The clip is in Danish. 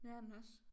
Det er den også